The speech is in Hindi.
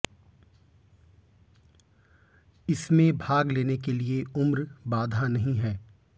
इसमें भाग लेने के लिए उम्र बाधा नहीं है